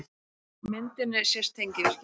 Á myndinni sést tengivirki.